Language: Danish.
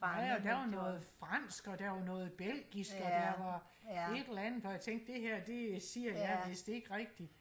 der var noget fransk og der var noget belgisk og der var et eller andet hvor jeg tænkte det her det siger jeg vidst ikke rigtigt